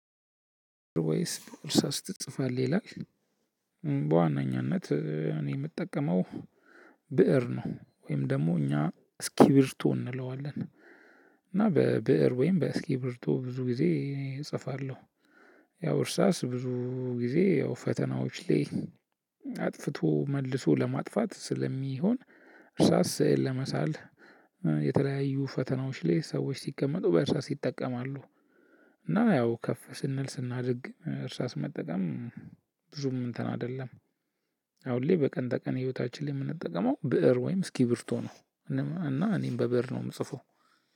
ወይስ በእርሳስ ትጽፋለህ ይላል? በዋናኛነት እኔ የምጠቀመው ብእር ነው ወይም ደግሞ እኛ እስኪብርቶ እንለዋለን። እና በብእር ወይም በእስኪብርቶ ብዙ ጊዜ እጽፋለሁ። ያው እርሳስ ብዙ ጊዜ ያው ፈተናዎች ላይ አጥፍቶ መልሶ ለማጥፋት ስለሚሆን እርሳስ ለመሳል የተለያዩ ፈተናዎች ላይ ሰዎች ሲቀመጡ በእርሳስ ይጠቀማሉ። እና ነው ያው ከፍ ስንል ስናድግ እርሳስ መጠቀም ብዙም እንትን አይደለም። አሁን ላይ በቀን በቀን ህይወታችን ላይ የምንጠቀመው ብእር ወይም እስኪብርቶ ነው። እና እኔም በብእር ነው የምጽፈው።